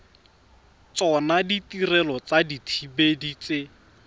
tsona ditirelo tsa dithibedi tse